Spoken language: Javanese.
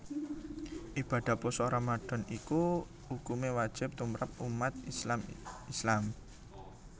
Ibadah pasa Ramadhan iki ukumé wajib tumrap ummat IslamIslam